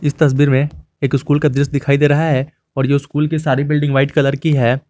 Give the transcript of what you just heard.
तस्वीर में एक स्कूल का दृश्य दिखाई दे रहा है और जो स्कूल की सारी बिल्डिंग व्हाइट कलर की है।